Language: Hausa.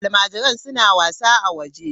Almajiran suna wasa a waje.